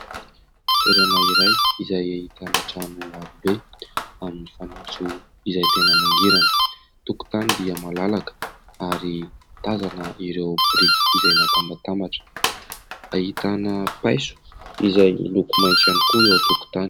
Toerana iray izay ahitana trano avo be amin'ny fanitso izay tena mangirana. Tokotany dia malalaka ary tazana ireo biriky izay natambatambatra. Ahitana paiso izay miloko maitso ihany koa eo an-tokotany.